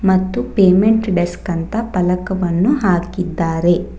ಮತ್ತು payment desk ಅಂತ ಪಲಕವನ್ನು ಹಾಕಿದ್ದಾರೆ.